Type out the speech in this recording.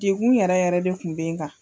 Dekun yɛrɛ yɛrɛ de kun bɛ kan.